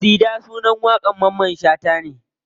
Sida sunan waƙar mamman shata ne.